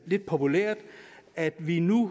lidt populært at vi nu